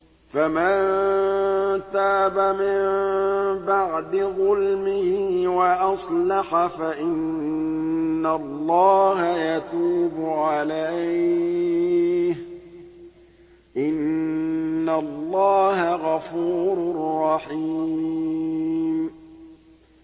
فَمَن تَابَ مِن بَعْدِ ظُلْمِهِ وَأَصْلَحَ فَإِنَّ اللَّهَ يَتُوبُ عَلَيْهِ ۗ إِنَّ اللَّهَ غَفُورٌ رَّحِيمٌ